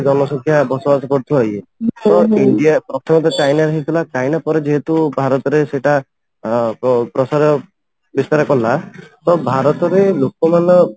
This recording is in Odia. ଜନ ସଂଖ୍ୟା ବସବାସ କରୁଥିବାରୁ ଇଏ ଇଣ୍ଡିଆ ପ୍ରଥମେ ତ ଚାଇନା ରେ ହେଇଥିଲା ଚାଇନା ପରେ ଯେହେତୁ ଭାରତରେ ସେଇଟା ପ୍ରସାର ବିସ୍ତାର କଲା ତ ଭାରତରେ ଲୋକ ମାନେ